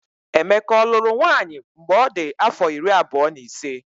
Emeka ọ lụrụ nwaanyị mgbe ọ dị afọ iri abụọ na ise?